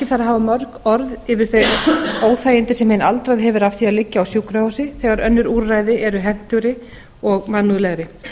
hafa mörg orð yfir bein óþægindi sem hinn aldraði hefur af því að liggja á sjúkrahúsi þegar önnur úrræði eru hentugri og mannúðlegri